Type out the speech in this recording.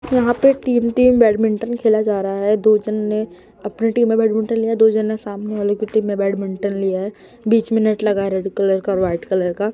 यहां पे team team badminton खेला जा रहा है दो जन ने अपनी टीम में बैडमिंटन लिया दो जन ने सामने वाले के टीम में बैडमिंटन लिया है बीच में नेट लगा है रेड कलर का और वाइट कलर का।